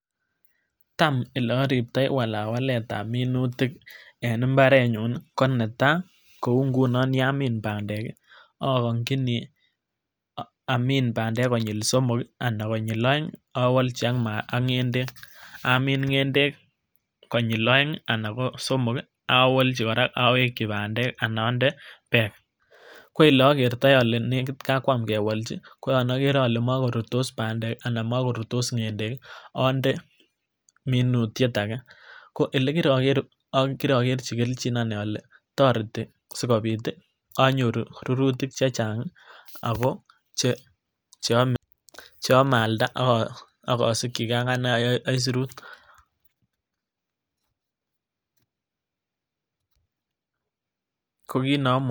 Tam ole oriptoi walawaletab minutik en imbarenyun ko netai kou ingunon yamin pandek akonkini amin pandek konyil somok kii anan konyil oeng owolji ak ngendek, amin ngende kokonyil oeng anan ko somok kii owolji koraa pandek anan onde peek, ko ole okertoi ole nekit kokwam kewolji koyon okere ole mokorurtos pandek anan mokorurtos ngendek kii onde minutyet age. Ko ole kirokerji keljino nii ole toreti sikopit onyoru rurutik chechangi ako che cheome aalda ak osikigee akanee aisurut.